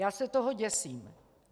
Já se toho děsím!